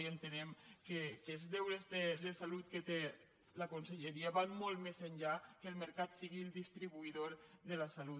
i entenem que els deures de salut que té la conselleria van molt més enllà que el mercat sigui el distribuïdor de la salut